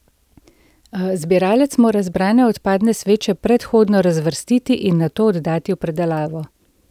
Zbiralec mora zbrane odpadne sveče predhodno razvrstiti in nato oddati v predelavo.